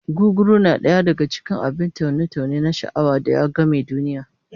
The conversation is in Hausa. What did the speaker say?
Gugguru na daya daka cikin abin taune-taune na sha'awa da ya game duniya